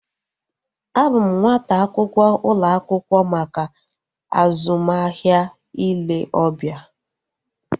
A bụ m nwata akwụkwọ ụlọ akwụkwọ maka azụmahịa ile obia